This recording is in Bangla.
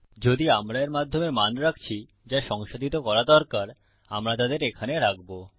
যদি আমরা এর মাধ্যমে মান রাখছি যা সংসাধিত করা দরকার আমরা তাদের এখানে রাখবো